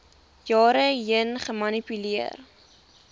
jare heen gemanipuleer